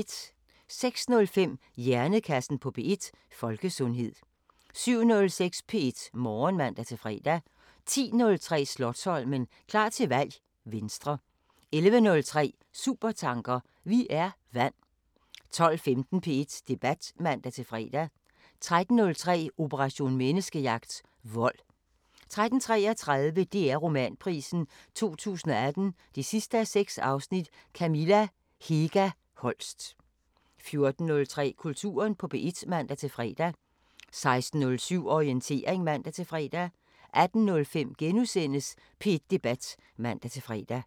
06:05: Hjernekassen på P1: Folkesundhed 07:06: P1 Morgen (man-fre) 10:03: Slotsholmen – klar til valg: Venstre 11:03: Supertanker: Vi er vand 12:15: P1 Debat (man-fre) 13:03: Operation Menneskejagt: Vold 13:33: DR Romanprisen 2018 6:6 – Kamilla Hega Holst 14:03: Kulturen på P1 (man-fre) 16:07: Orientering (man-fre) 18:05: P1 Debat *(man-fre)